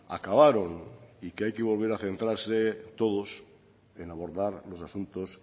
acabaron y que hay que volver a centrarse todos en abordar los asuntos